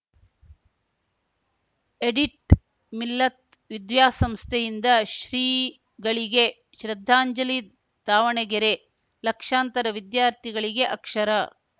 edit Millat ವಿದ್ಯಾಸಂಸ್ಥೆ ಯಿಂದ ಶ್ರೀಗಳಿಗೆ ಶ್ರದ್ಧಾಂಜಲಿ ದಾವಣಗೆರೆ ಲಕ್ಷಾಂತರ ವಿದ್ಯಾರ್ಥಿಗಳಿಗೆ ಅಕ್ಷರ